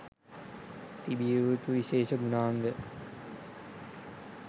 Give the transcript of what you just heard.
තිබිය යුතු විශේෂ ගුණාංග